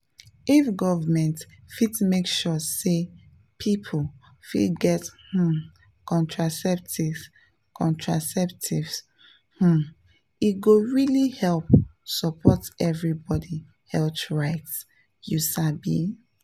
if government fit make sure say people fit get um contraceptives contraceptives um e go really help support everybody health rights you sabi.